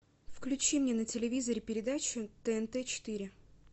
включи мне на телевизоре передачу тнт четыре